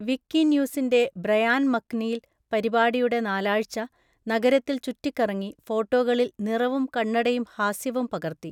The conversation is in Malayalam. വിക്കിന്യൂസിന്റെ ബ്രയാൻ മക്‌നീൽ, പരിപാടിയുടെ നാലാഴ്‌ച, നഗരത്തിൽ ചുറ്റിക്കറങ്ങി, ഫോട്ടോകളിൽ നിറവും കണ്ണടയും ഹാസ്യവും പകർത്തി.